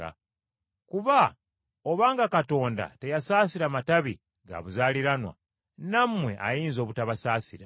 Kuba obanga Katonda teyasaasira matabi ga buzaaliranwa, nammwe ayinza obutabasaasira.